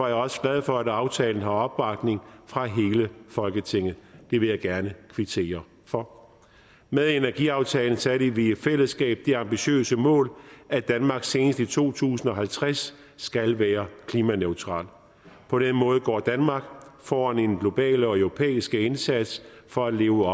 jeg også glad for at aftalen har opbakning fra hele folketinget det vil jeg gerne kvittere for med energiaftalen satte vi i fællesskab det ambitiøse mål at danmark senest i to tusind og halvtreds skal være klimaneutralt på den måde går danmark foran i den globale og europæiske indsats for at leve